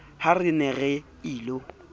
ha re ne re ilo